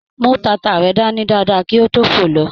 Mú tata rẹ dání dáadáa kí o to fo lọ.